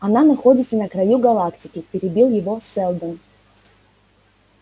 она находится на краю галактики перебил его сэлдон